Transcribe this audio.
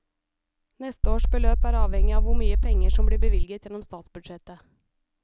Neste års beløp er avhengig av hvor mye penger som blir bevilget gjennom statsbudsjettet.